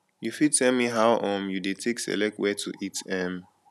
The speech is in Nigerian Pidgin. you fit tell me how um you dey take select where to eat um